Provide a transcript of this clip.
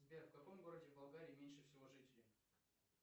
сбер в каком городе болгарии меньше всего жителей